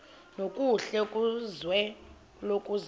nokuhle kwizwe lokuzalwa